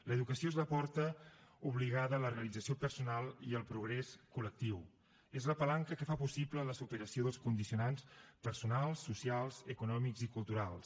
l’educació és la porta obligada a la realització personal i al progrés col·lectiu és la palanca que fa possible la superació dels condicionants personals socials econòmics i culturals